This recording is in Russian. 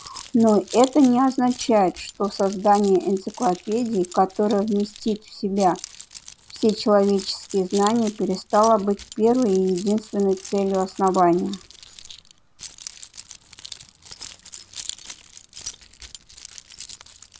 но это не означает что создание энциклопедии которая вместит в себя все человеческие знания перестало быть первой и единственной целью основания